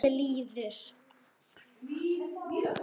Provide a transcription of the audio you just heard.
Kvöldið líður.